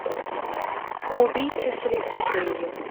убийца с электродрелью